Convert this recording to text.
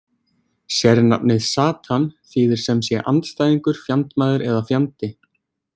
Sérnafnið Satan þýðir semsé andstæðingur, fjandmaður eða fjandi.